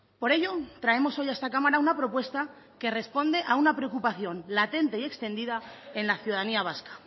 por ello traemos hoy a esta cámara una propuesta que responde a una preocupación latente y extendida en la ciudadanía vasca